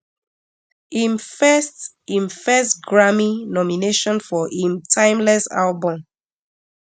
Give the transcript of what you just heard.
im first im first grammy nomination for im timeless album